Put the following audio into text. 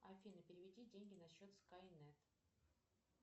афина переведи деньги на счет скайнет